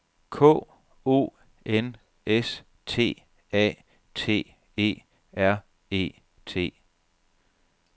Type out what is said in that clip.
K O N S T A T E R E T